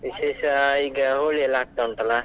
ವಿಶೇಷ ಈಗ, Holi ಯೆಲ್ಲ ಆಗ್ತ ಉಂಟಲ್ಲ.